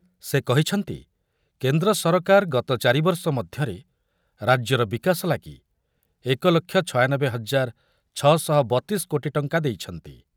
ସେ କହିଛନ୍ତି କେନ୍ଦ୍ର ସରକାର ଗତ ଚାରି ବର୍ଷ ମଧ୍ୟରେ ରାଜ୍ୟର ବିକାଶ ଲାଗି ଏକ ଲକ୍ଷ ଛୟାନବେ ହଜାର ଛଅଶହବତିଶି କୋଟି ଟଙ୍କା ଦେଇଛନ୍ତି।